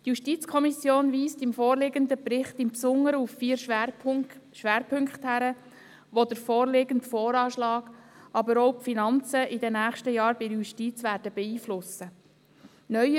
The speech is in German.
Die JuKo weist im vorliegenden Bericht im Besonderen auf vier Schwerpunkte hin, die den vorliegenden VA, aber auch die Finanzen in den nächsten Jahren bei der Justiz, beeinflussen werden.